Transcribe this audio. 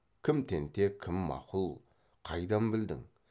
кім тентек кім мақұл қайдан білдің